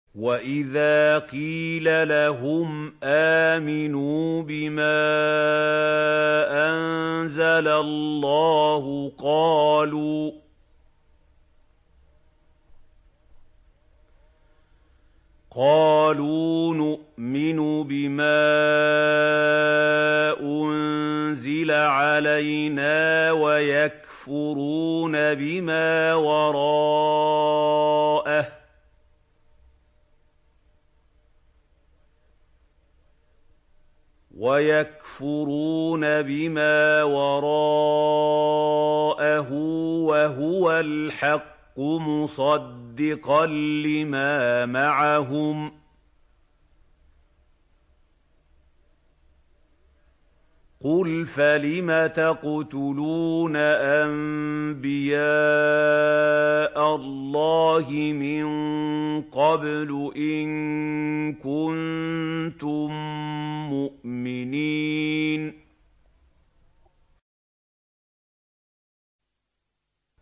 وَإِذَا قِيلَ لَهُمْ آمِنُوا بِمَا أَنزَلَ اللَّهُ قَالُوا نُؤْمِنُ بِمَا أُنزِلَ عَلَيْنَا وَيَكْفُرُونَ بِمَا وَرَاءَهُ وَهُوَ الْحَقُّ مُصَدِّقًا لِّمَا مَعَهُمْ ۗ قُلْ فَلِمَ تَقْتُلُونَ أَنبِيَاءَ اللَّهِ مِن قَبْلُ إِن كُنتُم مُّؤْمِنِينَ